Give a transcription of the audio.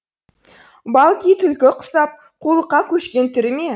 балки түлкі құсап қулыққа көшкен түрі ме